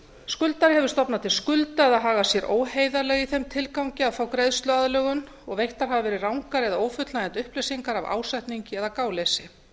skuldari hefur stofnað til skulda eða hagað sér óheiðarlega í þeim tilgangi að fá greiðsluaðlögun og veittar hafa verið rangar eða ófullnægjandi upplýsingar af ásetningi eða gáleysi